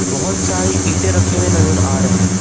बहुत सारी ईटे रखे हुए नजर आ रहे हैं।